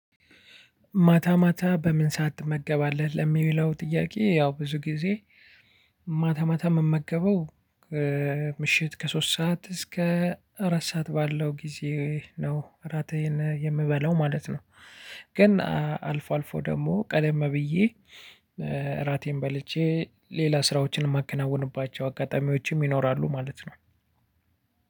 ማታ ማታ በምን ሰዓት ትመገባለህ ለሚለው ጥያቄ? ያው ብዙ ጊዜ ማታ ማታ የምመገበው ምሽት ከሶስት ሰዓት እስከ አራት ሰዓት ባለው ጊዜ ነው እራቴን የምበላው ማለት ነው። ግን አልፎ አልፎ ደግሞ ቀደም ብዬ። እራቴን በልቼ ሌላ ስራዎችን የማከናውንባቸው አጋጣሚዎችም ይኖራሉ ማለት ነው።